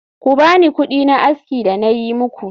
Ku bani kudina aski da nayi muku